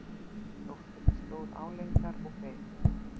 Dóttirin stóð álengdar og beið.